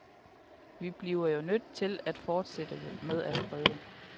Vi bliver jo nødt til at fortsætte med at prøve.